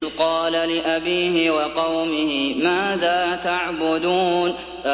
إِذْ قَالَ لِأَبِيهِ وَقَوْمِهِ مَاذَا تَعْبُدُونَ